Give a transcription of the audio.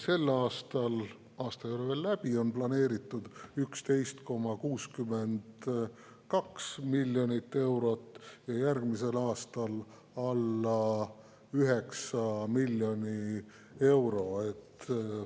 Sel aastal – aasta ei ole veel läbi – on planeeritud 11,62 miljonit eurot ja järgmisel aastal alla 9 miljoni euro.